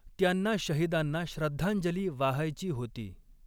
त्यांना शहिदांना श्रद्धांजली वाहायची होती.